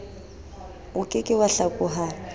oke ke wa hlakoha o